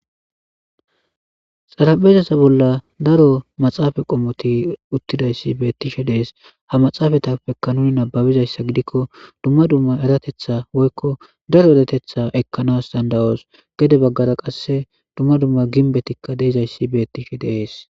Salaphezasa bolla daro maxaafa qommoti uttidayssi bettishe dees ha maxaafatappekka nuni nababizayssa gidikko dumma dumma eratetha woykko daro edatetha ekkanas dandawoos gede baggara qasse dumma dumma ginbetikka deizayssi bettishe deees.